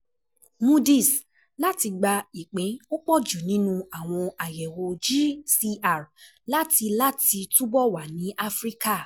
Moody's Láti Gba Ìpín Ọ̀pọ̀jù Nínú Àwọn Àyẹ̀wò GCR, Láti Láti Túbọ̀ Wà ní Áfíríkà